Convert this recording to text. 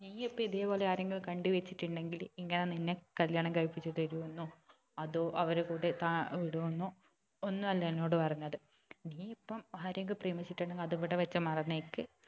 നീയ്യിപ്പൊ ഇതേപോലെ ആരെയും കണ്ടു വെച്ചിട്ടുണ്ടെങ്കിൽ ഇങ്ങനെ നിന്നെ കല്യാണം കഴിപ്പിച്ച് തരു എന്നോ അതോ അവരുടെ കൂടെ താ വിടു എന്നോ ഒന്നും അല്ല എന്നോട് പറഞ്ഞത് നീ ഇപ്പൊ ആരെങ്കിലും പ്രേമിച്ചിട്ടുണ്ടെങ്കിൽ അത് ഇവിടെ വെച്ച് മറന്നേക്ക്